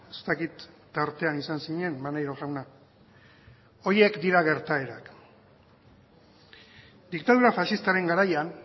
ez dakit tartean izan zinen maneiro jauna horiek dira gertaerak diktadura faxistaren garaian